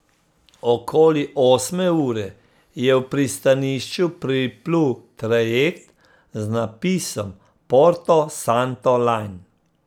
Okoli osme ure je v pristanišče priplul trajekt z napisom Porto Santo Line.